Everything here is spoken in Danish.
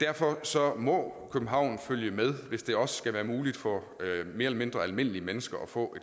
derfor må københavn følge med hvis det også skal være muligt for mere eller mindre almindelige mennesker at få